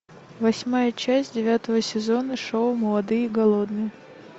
восьмая часть девятого сезона шоу молодые и голодные